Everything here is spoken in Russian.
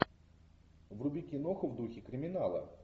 вруби киноху в духе криминала